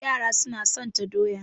Yara suna satan doya.